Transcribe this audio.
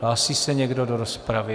Hlásí se někdo do rozpravy?